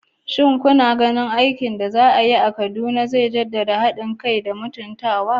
Shin kuna ganin aikin al'umma da za a yi a Kaduna zai jaddada haɗin kai da mutuntawa?